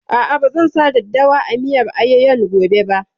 A'a, ba zan sa daddawa a miyar ayoyon gobe ba